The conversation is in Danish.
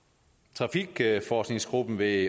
trafikforskningsgruppen ved